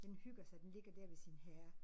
Den hygger sig den ligger dér ved sin herre